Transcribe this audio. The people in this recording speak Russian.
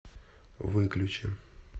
выключи